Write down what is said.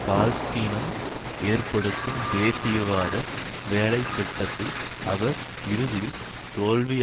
பால்ஸ்தீனம் ஏற்படுத்தும் தேசியவாத வேலை திட்டத்தில் அவர் இறுதியில் தோல்வி